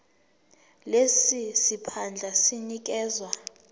lesi siphandla sinikezwa